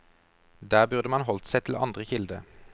Der burde man holdt seg til andre kilder.